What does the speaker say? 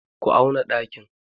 Ku auna ɗakin!